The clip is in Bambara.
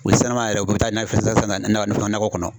O sisan lama yɛrɛ u kun bɛ taa nakɔ kɔnɔ.